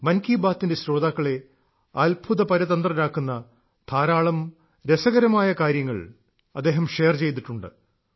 മൻ കി ബാത്തിന്റെ ശ്രോതാക്കളെ അത്ഭുതപരതന്ത്രരാക്കുന്ന ധാരാളം രസകരമായ കാര്യങ്ങൾ അദ്ദേഹം ഷെയർ ചെയ്തിട്ടുണ്ട്